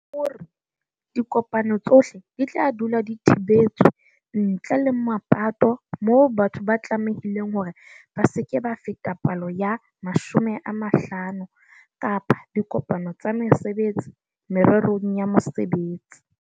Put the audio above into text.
O re, "Dikopano tsohle di tla dula di thibetswe, ntle le mapatong moo batho ba tlamehileng hore ba se ke ba feta palo ya 50 kapa diko-pano tsa mesebetsi mererong ya mosebetsi."